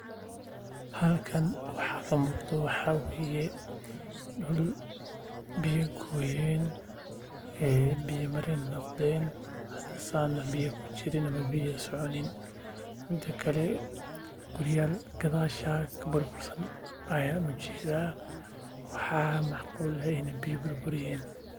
Halkan waxaa kamuqdo waxaa waye dul biya goyeen biya mareen noqdeen hada saan biya kujirin mida kale guryaal gadashaas kudisan ayaan arkaa waxaa macquul ah inaay biya burburiyeen.